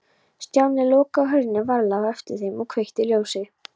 Stjáni lokaði hurðinni varlega á eftir þeim og kveikti ljósið.